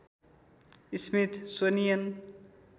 Smith सोनियन